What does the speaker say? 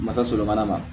Masa sɔrɔ mana ma